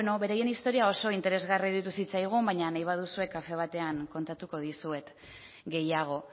beraien historia oso interesgarria iruditu zitzaigun baina nahi baduzue kafe batean kontatuko dizuet gehiago